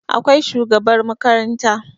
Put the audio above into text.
Akwai shugabar makaranta